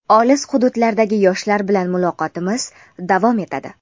Olis hududlardagi yoshlar bilan muloqotimiz davom etadi.